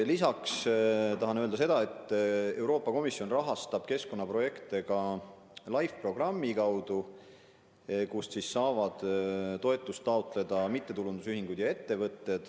Lisaks tahan öelda, et Euroopa Komisjon rahastab keskkonnaprojekte ka LIFE programmi kaudu, kust saavad toetust taotleda mittetulundusühingud ja ettevõtted.